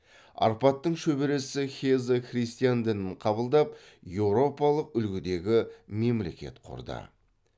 арпадтың шөбересі геза христиан дінін қабылдап еуропалық үлгідегі мемлекет құрды